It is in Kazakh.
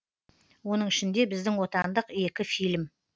оның ішінде біздің отандық екі фильм